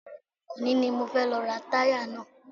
Òní ni mo fẹ́ lọ ra táyà náà